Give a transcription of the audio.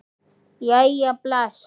Jæja bless